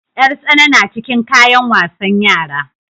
Yar tsana na cikin kayan wasan yara.